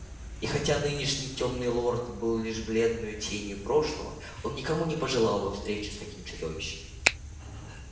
и хотя нынешний тёмный лорд был лишь бледной тенью прошлого он никому не пожелал бы встречи с таким чудовищем